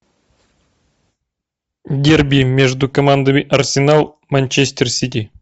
дерби между командами арсенал манчестер сити